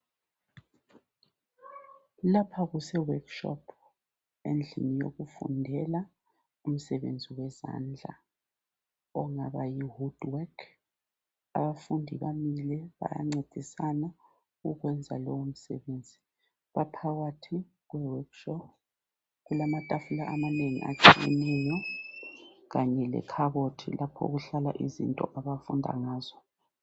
Lapha kuse workshop endlini yokufundela umsebenzi wezandla ongaba yi woodwork. Abafundi bamile bayancedisana ukwenza lowo msebenzi . Baphakathi kwe work shop. Kulamatafula amanengi ahlukeneyo kanye le khabothi lapho okuhlala izinto abafunda ngazo.